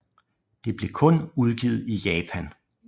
Det blev kun udgivet i Japan